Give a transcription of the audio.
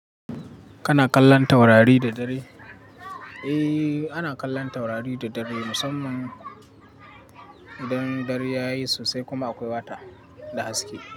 Kana kallon taurari da dare? Eh, ana kallon taurari da dare musamman idan dare yayi sosai kuma akwai wata da haske.